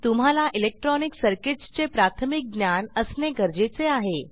तुम्हाला electronic circuits चे प्राथमिक ज्ञान असणे गरजेचे आहे